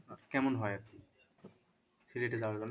কেমন হয় আর কি? সিলেটে যাওয়ার জন্যে